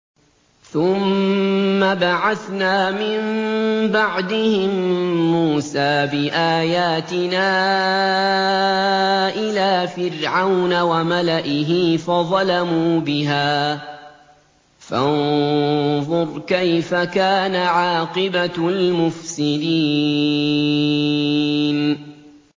ثُمَّ بَعَثْنَا مِن بَعْدِهِم مُّوسَىٰ بِآيَاتِنَا إِلَىٰ فِرْعَوْنَ وَمَلَئِهِ فَظَلَمُوا بِهَا ۖ فَانظُرْ كَيْفَ كَانَ عَاقِبَةُ الْمُفْسِدِينَ